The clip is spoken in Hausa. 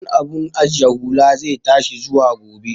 Kudin abun ajiye hula zai tashi zuwa gobe